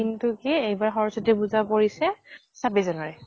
কিন্তু কি এইবাৰ সৰস্বতী পুজা পৰিছে ছাব্বিছ january